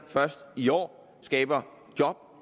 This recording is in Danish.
i år skaber job